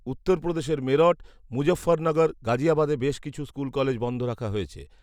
উত্তরপ্রদেশের মেরঠ, মুজঃফরনগর, গাজিয়াবাদে বেশ কিছু স্কুল কলেজ বন্ধ রাখা হয়েছে